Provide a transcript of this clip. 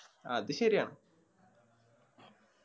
അത് ശെരിയാണ്